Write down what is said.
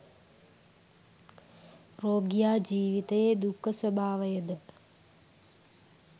රෝගියා ජීවිතයේ දුක්ඛ ස්වභාවයද